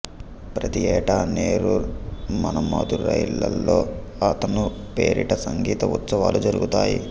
ప్రతి ఏటా నెరూర్ మనమధురైలలో అతను పేరిట సంగీత ఉత్సవాలు జరుగుతాయి